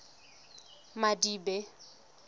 madibe